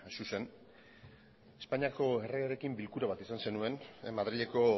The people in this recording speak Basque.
zuzen espainiako erregearekin bilkura bat izan zenuen madrileko